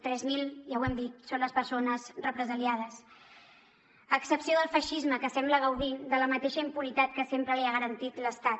tres mil ja ho hem dit són les persones represaliades a excepció del feixisme que sembla gaudir de la mateixa impunitat que sempre li ha garantit l’estat